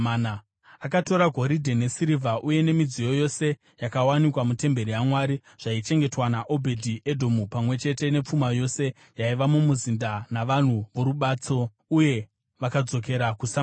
Akatora goridhe nesirivha yose nemidziyo yose yakawanikwa mutemberi yaMwari zvaichengetwa naObhedhi-Edhomu, pamwe chete nepfuma yose yaiva mumuzinda navanhu vorubatso, uye vakadzokera kuSamaria.